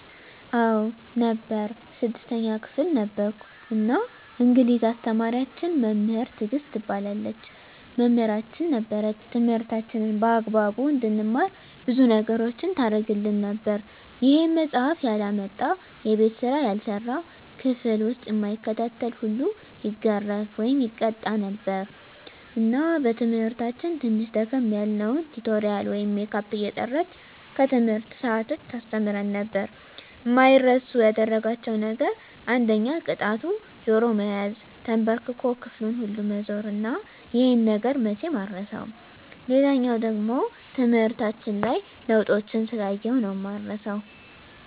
አዎ ነበር 6ተኛ ክፍል ነበርኩ እና እንግሊዝ አስተማሪያችን መምህር ትግስት ትባላለች መምህራችን ነበረች ትምህርታችንን በአግባቡ እንድንማር ብዙ ነገሮችን ታረግልን ነበር ይሄም መፃሐፍ ያላመጣ፣ የቤት ስራ ያልሰራ፣ ክፍል ዉስጥ እማይከታተል ሁሉ ይገረፍ( ይቀጣ ) ነበር እና በትምህርታችን ትንሽ ደከም ያልነዉን ቲቶሪያል ወይም ሜካፕ እየጠራች ከትምህርት ሰአት ዉጭ ታስተምረን ነበር። አማይረሱ ያደረጋቸዉ ነገር አንደኛ ቅጣቱ ጆሮ መያዝ፣ ተንበርክኮ ክፍሉን ሁሉ መዞር እና ይሄ ነገር መቼም አይረሳም። ሌላኛዉ ደሞ ትምህርታችን ላይ ለዉጦችን ስላየሁ ነዉ እማረሳዉ።